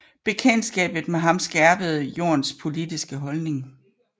Bekendtskabet med ham skærpede Jorns politiske holdning